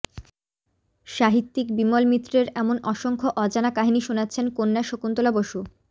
সাহিত্যিক বিমল মিত্রের এমন অসংখ্য অজানা কাহিনি শোনাচ্ছেন কন্যা শকুন্তলা বসু